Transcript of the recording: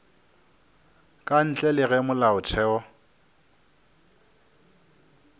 ka ntle le ge molaotheo